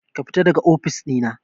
Kafita daga ofis ɗina.